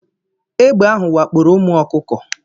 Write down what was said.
Egbe ahu wakporo umu ọkụkọ